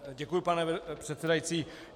Děkuji, pane předsedající.